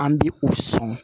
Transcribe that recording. An bi o sɔn